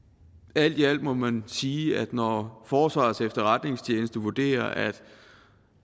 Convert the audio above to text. alt i alt må man sige at når forsvarets efterretningstjeneste vurderer at